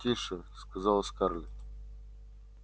тише сказала скарлетт